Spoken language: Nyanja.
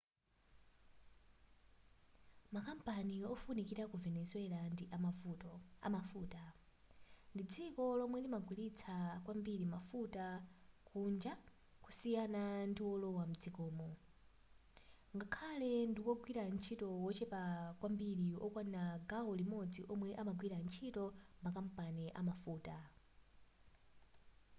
makampani ofunikira ku venezuela ndi amafuta ndi dziko lomwe limagulitsa kwambiri mafuta kunja kusiyana ndiwolowa mdzikomo ngakhale ndiwogwira ntchito wochepa kwambiri wokwana gawo limodzi womwe amagwira ntchito m'makampani amafuta